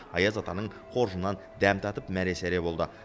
аяз атаның қоржынынан дәм татып мәре сәре болды